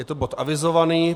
Je to bod avizovaný.